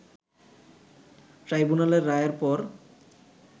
ট্রাইব্যুনালের রায়ের পর